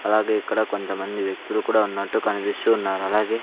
అలాగే ఇక్కడ కొంతమంది వ్యక్తులు కూడా ఉన్నట్టు కనిపిస్తూ ఉన్నారు అలాగే--